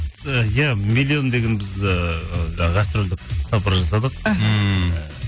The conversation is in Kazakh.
і иә миллион деген біз ыыы жаңа гастрольдік сапар жасадық іхі ммм